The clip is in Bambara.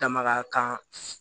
Dama kan